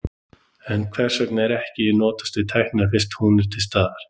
En hvers vegna ekki að notast við tæknina fyrst hún er til staðar?